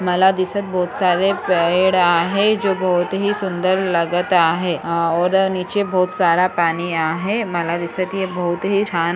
मला दिसत बहुत सारे पेड़ आहे जो बहुत ही सुंदर लगत आहे और नीचे बहुत सारा पानी आहे मला दिसत ये बहुत ही छान--